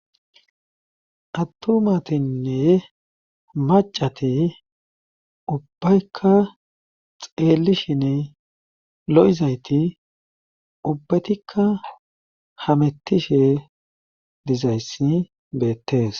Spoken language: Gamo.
attomatinne macati ubbaykka xeelishin lo7izayti ubbatikka hamettishe dizayssi beettees